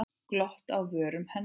Glott á vörum hennar.